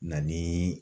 Na ni